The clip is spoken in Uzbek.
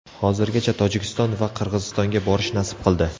Hozirgacha Tojikiston va Qirg‘izistonga borish nasib qildi.